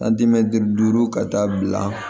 duuru ka taa bila